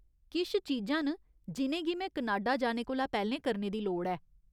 किश चीजां न जि'नेंगी में कनाडा जाने कोला पैह्‌लें करने दी लोड़ ऐ।